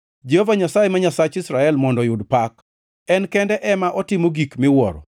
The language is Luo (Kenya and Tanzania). Jehova Nyasaye, ma Nyasach Israel, mondo oyud opak, en kende ema otimo gik miwuoro.